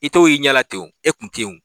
I t'o ye i ɲɛ la ten o e tun tɛ yen o